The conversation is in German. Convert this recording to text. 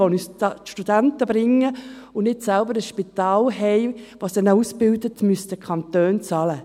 Kantone, die Studenten bringen und selbst kein Spital haben, das ausbildet, müssten bezahlen.